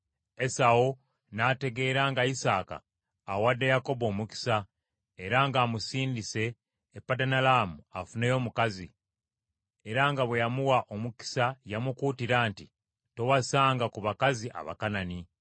Esawu n’ategeera nga Isaaka awadde Yakobo omukisa, era ng’amusindise e Padanalaamu afuneyo omukazi, era nga bwe yamuwa omukisa yamukuutira nti, “Towasanga ku bakazi Abakanani,”